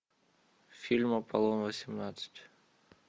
фильм аполлон восемнадцать